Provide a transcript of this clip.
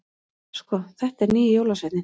Svo þetta er nýji jólasveininn!